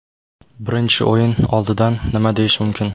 Birinchi o‘yin oldidan nima deyish mumkin?